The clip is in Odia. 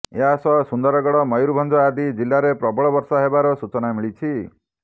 ଏହାସହ ସୁନ୍ଦରଗଡ ମୟୂରଭଞ୍ଜ ଆଦି ଜିଲ୍ଲାରେ ପ୍ରବଳ ବର୍ଷା ହେବାର ସୂଚନା ମିଳିଛି